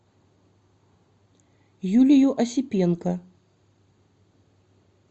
юлию осипенко